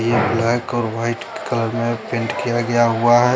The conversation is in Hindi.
ये ब्लैक और वाइट कलर में पैंट किया गया हुआ है।